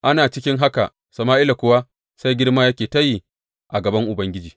Ana cikin haka Sama’ila kuwa sai girma yake ta yi a gaban Ubangiji.